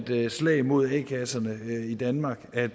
er et slag mod a kasserne i danmark at